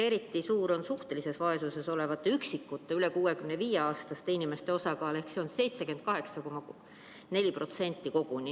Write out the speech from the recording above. Eriti suur on suhtelises vaesuses olevate üksikute üle 65-aastaste inimeste osakaal: see on koguni 78,4%.